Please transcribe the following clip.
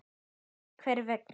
Þú veist hvers vegna.